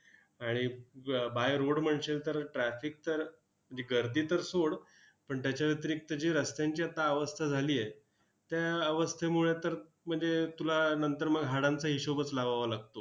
आणि ब by road म्हणशील तर, traffic तर दि गर्दी तर सोड, पण त्याच्या व्यतिरिक्त जी रस्त्यांची आता अवस्था झाली आहे, त्या अवस्थेमुळे तर म्हणजे तुला नंतर मग हाडांचा हिशोबच लावावा लागतो.